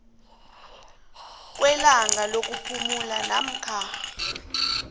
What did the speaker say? kwelanga lokuphumula namkha